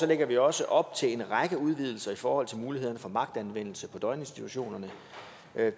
lægger vi også op til en række udvidelser i forhold til mulighederne for magtanvendelse på døgninstitutionerne